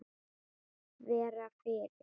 Vera fyrir.